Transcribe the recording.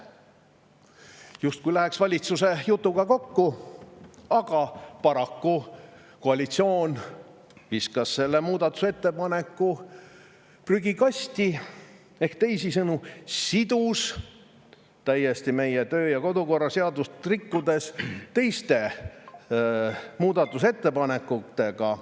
" Justkui läheks valitsuse jutuga kokku, aga paraku koalitsioon viskas selle muudatusettepaneku prügikasti või teisisõnu sidus meie kodu- ja töökorra seadust rikkudes teiste muudatusettepanekutega.